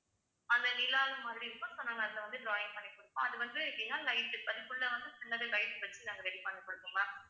அந்த நிலாவு மாதிரி இருக்கும் so நாங்க அதுல வந்து drawing பண்ணி கொடுபோம் அது வந்து எப்படின்னா light அதுக்குள்ள வந்து சின்னது light வச்சு நாங்க ready பண்ணி கொடுபோம் ma'am